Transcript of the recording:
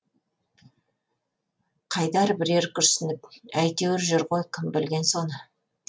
қайдар бірер күрсініп әйтеуір жүр ғой кім білген соны